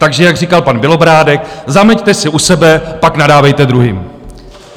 Takže jak říkal pan Bělobrádek, zameťte si u sebe, pak nadávejte druhým.